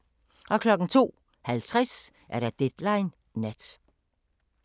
02:50: Deadline Nat